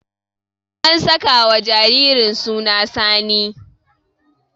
An sakawa jaririn suna Sani.